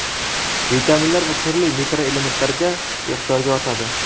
vitaminlar va turli mikroelementlarga ehtiyoji ortadi.